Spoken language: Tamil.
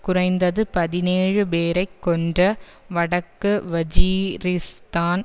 குறைந்தது பதினேழு பேரை கொன்ற வடக்கு வஜீரிஸ்தான்